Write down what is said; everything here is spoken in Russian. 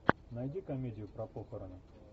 найди комедию про похороны